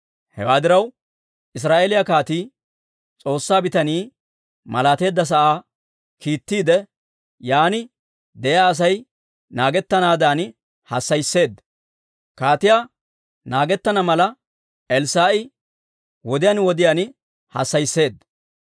Hewaa diraw, Israa'eeliyaa kaatii S'oossaa bitanii malaateedda sa'aa kiittiide, yaan de'iyaa Asay naagettanaadan hassayisseedda. Kaatiyaa naagettana mala, Elssaa'i wodiyaan wodiyaan hassayisseedda.